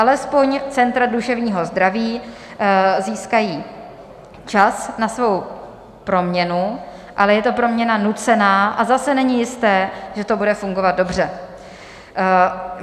Alespoň centra duševního zdraví získají čas na svou proměnu, ale je to proměna nucená a zase není jisté, že to bude fungovat dobře.